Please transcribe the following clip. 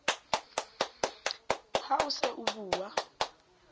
ha o se o bua